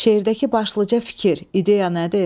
Şeirdəki başlıca fikir, ideya nədir?